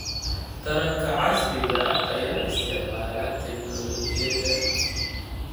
Taranka casriga ah ayaa isticmaala tignoolajiyada.